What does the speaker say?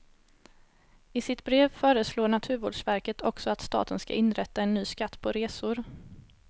I sitt brev föreslår naturvårdsverket också att staten ska inrätta en ny skatt på resor.